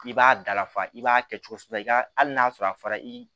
I b'a dalafa i b'a kɛ cogo si la i ka hali n'a sɔrɔ a fara i